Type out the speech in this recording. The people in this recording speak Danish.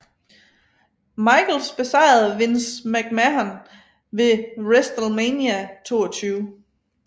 Michaels besejrede Vince McMahon ved WrestleMania 22